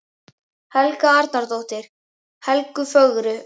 Helga Arnardóttir: Helgu fögru?